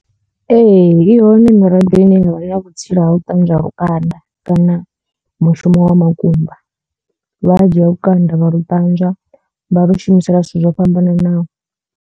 Ee i hone miraḓo ine yavha na vhutsila ha u ṱanzwa lukanda kana mushumo wa makumba lwa dzhia lukanda vha lu ṱanzwa vha lu shumisela zwithu zwo fhambananaho.